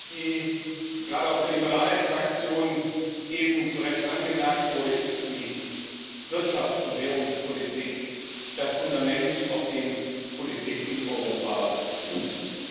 Wie gerade aus der Fraktion der Liberalen eben zu Recht angemerkt wurde, ist die Wirtschafts und Währungspolitik das Fundament, auf dem Politik in Europa fußt.